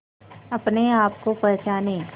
अपने आप को पहचाने